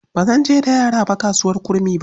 Ba zan je da yara ba kasuwar Kurmi ba.